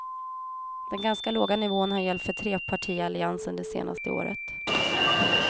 Den ganska låga nivån har gällt för trepartialliansen det senaste året.